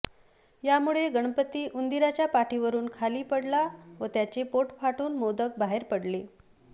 यामुळे गणपती उंदराच्या पाठीवरून खाली पडला व त्याचे पोट फाटून मोदक बाहेर पडले